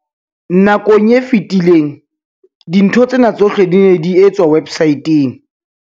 Nakong e fetileng, dintho tsena tsohle di ne di etswa websaeteng.